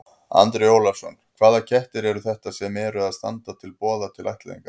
Andri Ólafsson: Hvaða kettir eru þetta sem að eru, þá standa til boða til ættleiðingar?